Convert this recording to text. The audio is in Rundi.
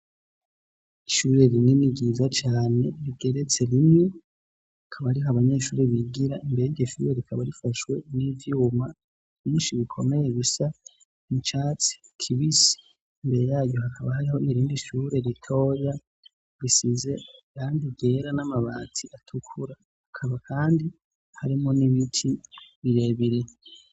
ishure rinini ryiza cyane rigeretse rimwe ikabariho abanyeshuri bigira imbere yiryoshure rikaba rifashwe n'ivyuma byinshi bikomeye gisa icatsi kibisi mbere yayo hakaba hariho irindi ishure ritoya risize irangi ryera n'amabati atukura akaba kandi harimo n'ibiti birebire